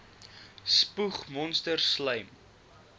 spoeg monsters slym